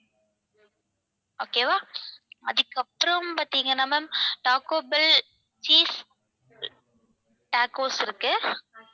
okay வா அதுக்கப்புறம் பாத்தீங்கன்னா ma'am taco bell cheese tacos இருக்கு